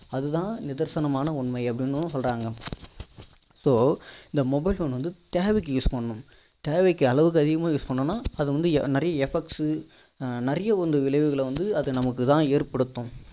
அது தான் நிதர்சனமான உண்மை அப்படின்னு வந்து சொல்றாங்க so இந்த mobile phones வந்து தேவைக்கு use பண்ணனும் தேவைக்கு அளவுக்கு அதிகமா use பண்ணோம்னா அது வந்து நிறைய effects சு நிறைய ஒரு விளைவுகள வந்து அது நமக்கு தான் ஏற்படுத்தும்